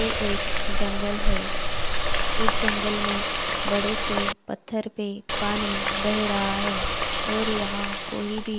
ये एक जंगल है उस जंगल में बड़े से पत्थर पे पानी बे रहा है और यहाँ कोई भी--